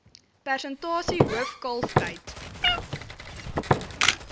persentasie hoof kalftyd